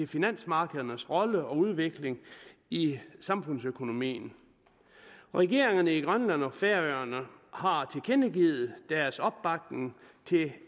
finansmarkedernes rolle og udvikling i samfundsøkonomien regeringerne i grønland og færøerne har tilkendegivet deres opbakning til